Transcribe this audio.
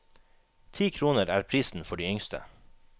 Ti kroner er prisen for de yngste.